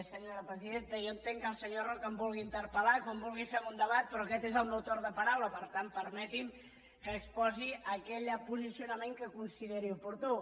senyora presidenta jo entenc que el senyor roca em vulgui interpel·fem un debat però aquest és el meu torn de paraula per tant permeti’m que exposi aquell posicionament que consideri oportú